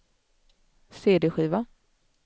cd-skiva